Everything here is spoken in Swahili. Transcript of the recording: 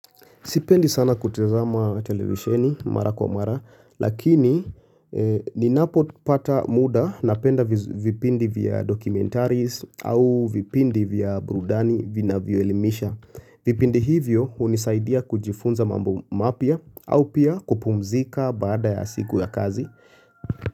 Sipendi sana kutazama televisheni mara kwa mara, lakini ninapo pata muda na penda vipindi vya dokumentaris au vipindi vya burudani vina vinavyoelimisha. Vipindi hivyo unisaidia kujifunza mambo mapya au pia kupumzika baada ya siku ya kazi.